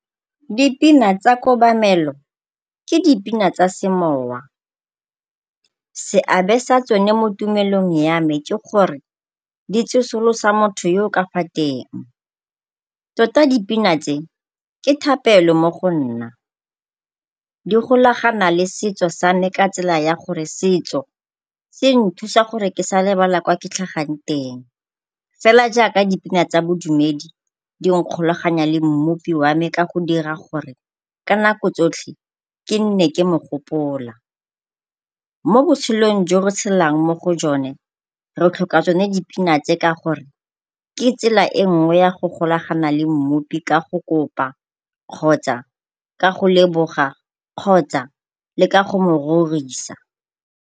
Dipina tsa kobamelo ke dipina tsa semowa, seabe sa tsone mo tumelong ya me ke gore di tsosolosa motho yo o ka fa teng, tota dipina tse ke thapelo mo go nna. Di golagana le setso sa me ka tsela ya gore setso se nthusa gore ke sa lebala ko ke tlhagang teng, fela jaaka dipina tsa bodumedi di nkgolaganya le mmupi wa me ka go dira gore ka nako tsotlhe ke nne ke mogopola. Mo botshelong jo re tshelang mo go jone re tlhoka tsone dipina tse ka gore ke tsela e nngwe ya go golagana le mmupi ka go kopa kgotsa ka go leboga kgotsa le ka go mo rorisa.